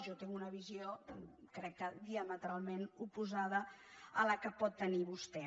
jo tinc una visió crec que diametralment oposada a la que pot tenir vostè